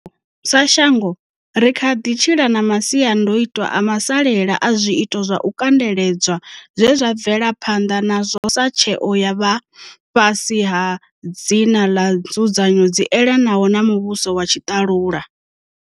Sa shango, ri kha ḓi tshila na masiandoitwa a masalela a zwiito zwa u kandeledzwa zwe zwa bvelwa phanḓa nazwo sa tsheo ya vha fhasi ha dzina ḽa nzudzanyo dzi elanaho na muvhuso wa tshiṱalula.